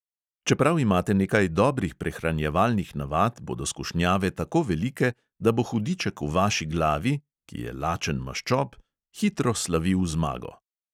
Čeprav imate nekaj dobrih prehranjevalnih navad, bodo skušnjave tako velike, da bo hudiček v vaši glavi (ki je lačen maščob) hitro slavil zmago.